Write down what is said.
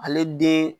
Ale den